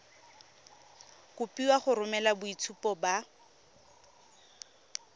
kopiwa go romela boitshupo ba